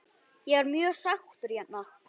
Ég er mjög sáttur hérna.